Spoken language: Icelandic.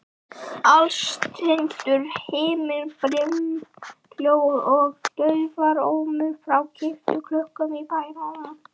Alstirndur himinn, brimhljóð og daufur ómur frá kirkjuklukkunum í bænum.